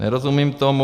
Nerozumím tomu.